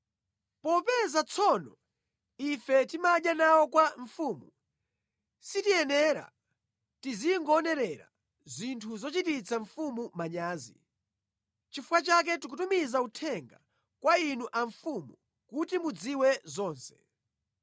Popeza tsono ife timadya nawo kwa mfumu sitiyenera tizingoonerera zinthu zochititsa mfumu manyazi. Nʼchifukwa chake tikutumiza uthenga kwa inu a mfumu kuti mudziwe zonse.